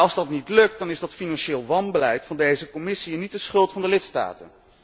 Als dat niet lukt dan is dat financieel wanbeleid van deze Commissie en niet de schuld van de lidstaten.